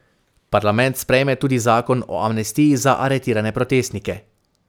Parlament sprejme tudi zakon o amnestiji za aretirane protestnike.